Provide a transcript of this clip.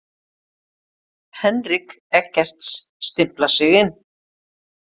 Henrik Eggerts stimplar sig inn.